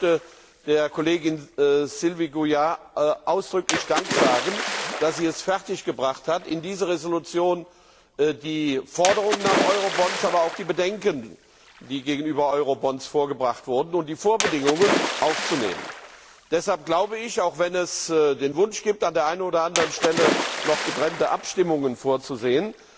Ich möchte der Kollegin Sylvie Goulard ausdrücklich Dank sagen, dass sie es fertiggebracht hat, in diese Entschließung die Forderung nach Eurobonds, aber auch die Bedenken, die gegenüber Eurobonds vorgebracht wurden, und die Vorbedingungen, aufzunehmen. Deshalb glaube ich, auch wenn es den Wunsch gibt, an der ein oder anderen Stelle noch getrennte Abstimmungen vorzusehen,